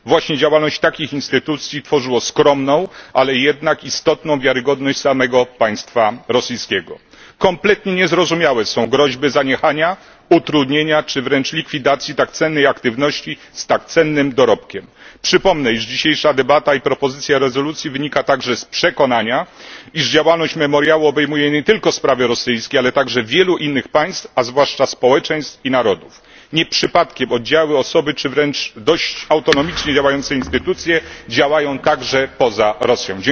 Właśnie działalność takich instytucji tworzyło skromną, ale jednak istotną wiarygodność samego państwa rosyjskiego. Kompletnie niezrozumiałe są groźby zaniechania, utrudnienia czy wręcz likwidacji tak cennej działalności z tak cennym dorobkiem. Przypomnę, że dzisiejsza debata i propozycja rezolucji wynika także z przekonania, że działalność Memoriału obejmuje nie tylko sprawy rosyjskie, ale także wielu innych państw, a zwłaszcza społeczeństw i narodów. Nie przypadkiem oddziały, osoby czy wręcz dość autonomicznie działające instytucje działają także poza Rosją.